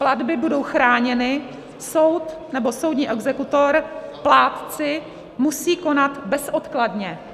Platby budou chráněny, soud nebo soudní exekutor, plátci musí konat bezodkladně.